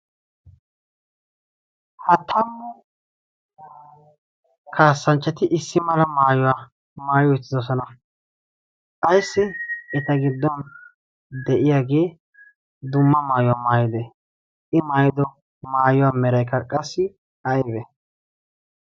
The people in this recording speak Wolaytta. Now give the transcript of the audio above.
hata kaassanchchati issi mala maayuwaa maayo ittidosana ayssi eta giddon de'iyaagee dumma maayuwaa maayide i maydo maayuwaa meraykaqqassi aybe?